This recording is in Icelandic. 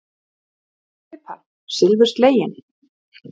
Ertu að því?